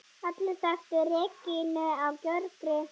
Allir þekktu Regínu á Gjögri.